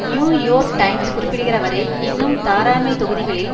new York Times குறிப்பிடுகிறவறை இன்னும் தாராண்மை தொகுதிகளில்